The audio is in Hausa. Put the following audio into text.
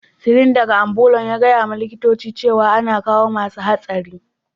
Sirin daga ambulan ya gaya ma likitocin cewa ana kawo masun hatsari.